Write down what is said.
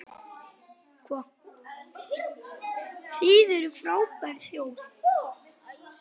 Þið eruð frábær þjóð!